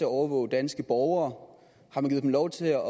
overvåge danske borgere har man givet dem lov til at